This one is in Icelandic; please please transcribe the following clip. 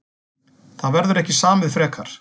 Það verður ekki samið frekar